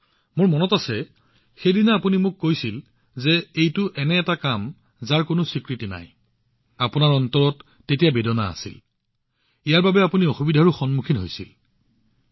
মোৰ ভালদৰে মনত আছে আৰু সেইদিনা আপুনি মোক কৈছিল যে এইটো এনে এক কাম যাৰ কোনো পৰিচয় নাই কোনো আত্মস্বীকৃতি নাই আৰু আপুনি যথেষ্ট হতাশ হৈছিল ইয়াৰ বাবে আপুনি যথেষ্ট অসুবিধাৰ সন্মুখীন হবলগীয়া হৈছিল